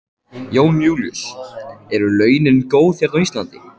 Jón Júlíus: Eru launin góð hérna á Íslandi?